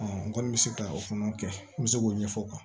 n kɔni bɛ se ka o fana kɛ n bɛ se k'o ɲɛfɔ o kan